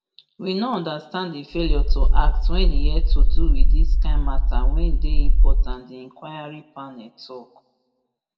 we no understand di failure to act wen e et to do wit dis kain matter wey dey important diinquiry panel tok